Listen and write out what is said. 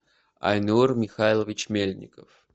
айнур михайлович мельников